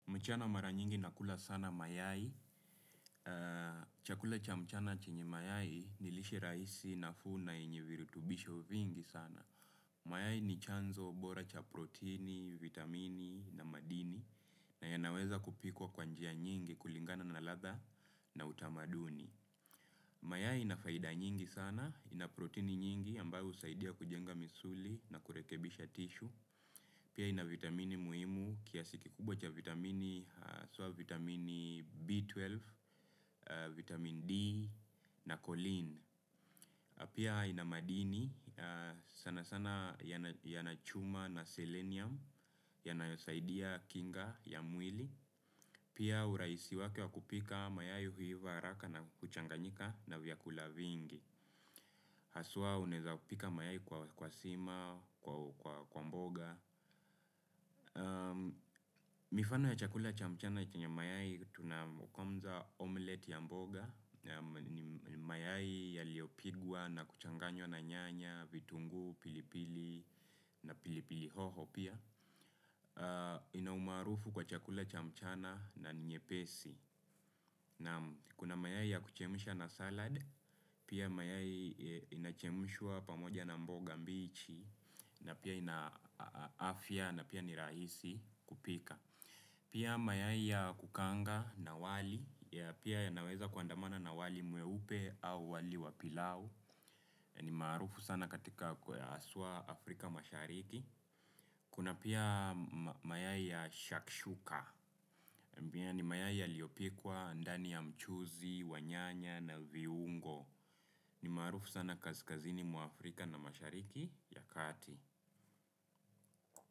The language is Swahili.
Mchana mara nyingi nakula sana mayai, chakula cha mchana chinyi mayai ni lishe rahisi na nafuu na yenye virutubisho vingi sana. Mayai ni chanzo bora cha proteini, vitamini na madini na yanaweza kupikwa kwa njia nyingi kulingana na ladha na utamaduni. Mayai ina faida nyingi sana, ina proteini nyingi ambayo husaidia kujenga misuli na kurekebisha tishu. Pia ina vitamini muhimu kiasi kikubwa cha vitamini, haswa vitamini B12, vitamin D na kulin. Pia ina madini sana sana yana chuma na selenium yanayosaidia kinga ya mwili. Pia uraisi wake wa kupika mayai huiva haraka na kuchanganyika na vyakula vingi. Haswa uneza pika mayai kwa sima, kwa mboga. Mifano ya chakula cha mchana chenye mayai tuna kwanza omelet ya mboga. Mayai yaliyopigwa na kuchanganywa na nyanya, vitungu, pilipili na pilipili hoho pia. Ina umarufu kwa chakula cha mchana na ni nyepesi. Kuna mayai ya kuchemsha na salad pia mayai inachemshwa pamoja na mboga mbichi na pia ina afya na pia ni rahisi kupika. Pia mayai ya kukaanga na wali. Pia inaweza kuandamana na wali mweupe au wali wa pilau. Ni marufu sana katika haswa Afrika mashariki. Kuna pia mayai ya shakshuka ni mayai yaliyopikwa ndani ya mchuzi, wanyanya na viungo. Ni marufu sana kaskazini mwa Afrika na mashariki ya kati.